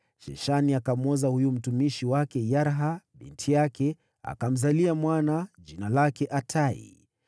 Sheshani akamwoza huyu mtumishi wake Yarha binti yake, akamzalia mwana jina lake Atai.